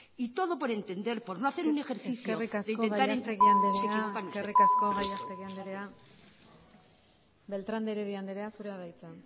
y todo por entender por no hacer un ejercicio de intentar entender eskerrik asko gallastegui andrea beltran de heredia andrea zurea da hitza